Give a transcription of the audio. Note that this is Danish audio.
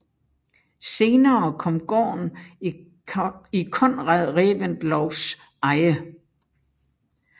Senere kom gården i Conrad Reventlows eje